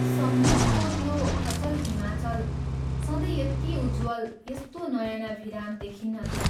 सम्मुखको त्यो अचल हिमाचल सधैँ यति उज्ज्वल, यस्तो नयनाभिराम देखिन्नथ्यो।